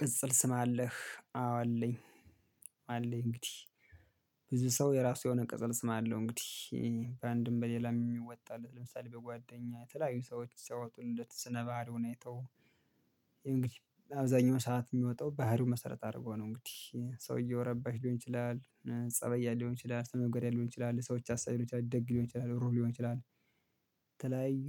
ቅጽል ስም አለህ አዎ አለኝ። አለኝ እንግዲህ ብዙ ሰው የራሱ የሆነ ቅጽል ስም አለው። እንግዲህ በአንድም በሌላም የሚወጣለት ለምሳሌ በጓደኛ የተለያዩ ሰዎች ሰዎችን እንደ ስነ ባህሪ ሁኔታው። እንግዲህ አብዛኛው ሰዓት የሚወጣው ባህሪው መሰረት አድርጎ ነው እንግዲህ ሰውየው ረባሽ ሊሆን ይችላል። ፀባይ ያለው ሊሆን ይችላል ሰው ሚጎዳ ሊሆን ይችላል ለሰዎች አሳቢ ሊሆን ይችላል ደግ ሊሆን ይችላል ሩህሩህ ሊሆን ይችላል። የተለያዩ